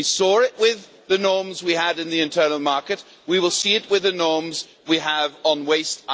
We saw it with the norms we had in the internal market and we will see it with the norms we have on waste.